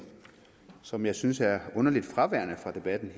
som jeg synes er underligt fraværende fra debatten i